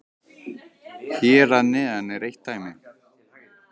Hér að neðan er eitt dæmi: